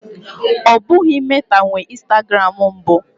Ọ bụghị Meta nwe Instagram mbụ.